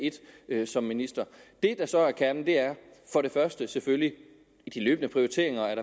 et som minister det der så er kernen er for det første selvfølgelig de løbende prioriteringer